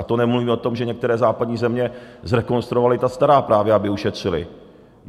A to nemluvím o tom, že některé západní země zrekonstruovaly ta stará, právě aby ušetřily.